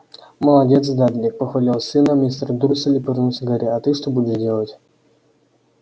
молодец дадлик похвалил сына мистер дурсль и повернулся к гарри а ты что будешь делать